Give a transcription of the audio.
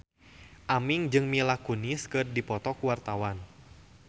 Aming jeung Mila Kunis keur dipoto ku wartawan